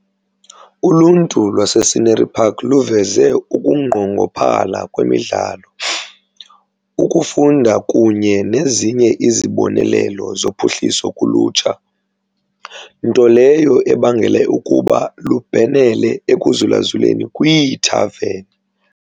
Uluntu lwase-Scenery Park luveze ukunqongophala kwemidlalo, ukufunda kunye nezinye izibonelelo zophuhliso kulutsha, nto leyo ebangele ukuba lubhenele ekuzulazuleni kwiithaveni.